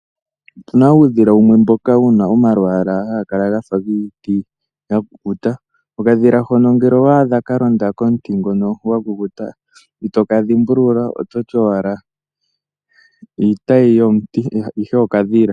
Otuna uudhila wumwe mboka hawu kala wuna omalwaala gafa giiti yakukuta. Okadhila hono ngele owaadha kalonda komuti ngono gwakukuta , itoka dhimbulula ototi owala iitayi yomuti ihe okadhila.